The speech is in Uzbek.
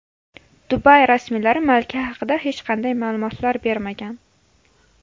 Dubay rasmiylari malika haqida hech qanday ma’lumotlar bermagan.